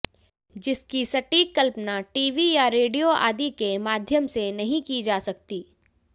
जिसकी सटीक कल्पना टीवी या रेडियो आदि के माध्यम से नहीं की जा सकती